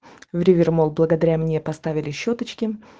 в ривермол благодаря мне поставили щёточки